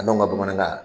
An ka bamanankan na